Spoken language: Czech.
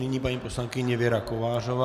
Nyní paní poslankyně Věra Kovářová.